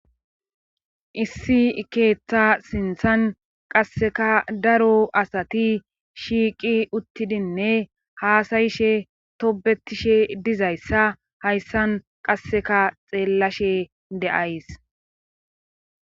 issi ikeeththa sinthan qasseka daro asati shiiqi uttidinne haasayishe tobetishe dizayssa hayssan qasseka xeellashe de7ays